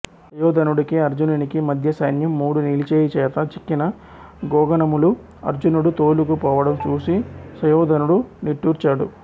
సుయోధనుడికి అర్జునినికి మధ్య సైన్యం మూడు నిలిచేయి చేత చిక్కిన గోగణములు అర్జునుడు తోలుకు పోవడం చూసి సుయోధనుడు నిట్టూర్చాడు